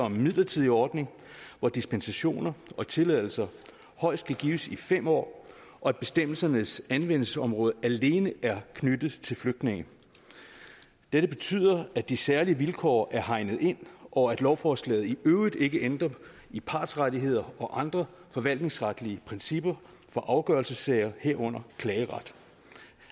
om en midlertidig ordning hvor dispensationer og tilladelser højst kan gives i fem år og at bestemmelsernes anvendelsesområde alene er knyttet til flygtninge dette betyder at de særlige vilkår er hegnet ind og at lovforslaget i øvrigt ikke ændrer i partsrettigheder og andre forvaltningsretlige principper for afgørelsessager herunder klageret